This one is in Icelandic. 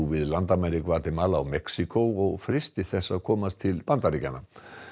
við landamæri Gvatemala og Mexíkó og freisti þess að komast til Bandaríkjanna